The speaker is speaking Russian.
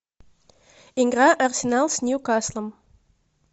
игра арсенал с ньюкаслом